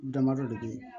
Damadɔ de be yen